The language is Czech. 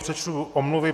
Přečtu omluvy.